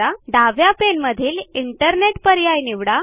डाव्या पाने मधील इंटरनेट पर्याय निवडा